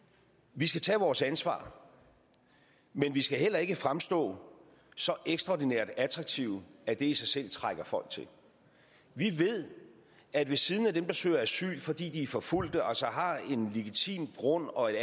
vi skal tage vores ansvar men vi skal ikke fremstå så ekstraordinært attraktive at det i sig selv trækker folk til vi ved at ved siden af dem der søger asyl fordi de er forfulgt og altså har en legitim grund og et